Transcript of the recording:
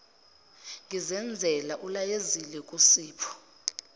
ngizenzela ulayezile kusipho